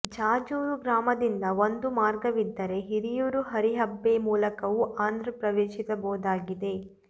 ಜಾಜೂರು ಗ್ರಾಮದಿಂದ ಒಂದು ಮಾರ್ಗವಿದ್ದರೆ ಹಿರಿಯೂರು ಹರಿಯಬ್ಬೆ ಮೂಲಕವೂ ಆಂಧ್ರ ಪ್ರವೇಶಿಸಬಹುದಾಗಿದೆ